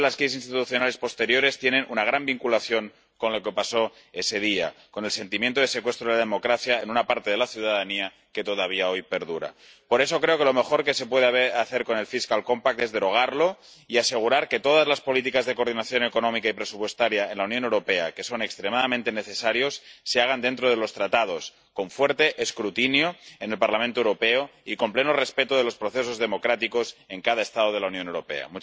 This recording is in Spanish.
muchas de las crisis institucionales posteriores tienen una gran vinculación con lo que pasó ese día, con un sentimiento de secuestro de la democracia en una parte de la ciudadanía que todavía hoy perdura. Por eso, creo que lo mejor que se puede hacer con el Pacto Presupuestario es derogarlo y asegurar que todas las políticas de coordinación económica y presupuestaria en la Unión Europea, que son extremadamente necesarias, se hagan dentro de los Tratados con un fuerte escrutinio en el Parlamento Europeo y con pleno respeto de los procesos democráticos en cada Estado de la Unión Europea.